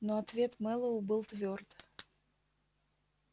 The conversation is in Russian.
но ответ мэллоу был твёрд